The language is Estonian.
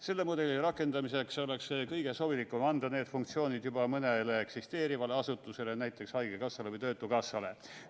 Selle mudeli rakendamiseks oleks kõige sobilikum anda need funktsioonid juba mõnele eksisteerivale asutusele, näiteks haigekassale või töötukassale.